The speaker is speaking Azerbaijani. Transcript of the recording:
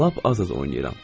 Lap az-az oynayıram.